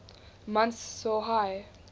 months saw high